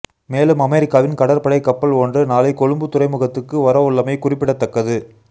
மேலும் அமெரிக்காவின் கடற்படை கப்பல் ஒன்று நாளை கொழும்பு துறைமுகத்துக்கு வரவுள்ளமை குறிப்பிடத்தக்கது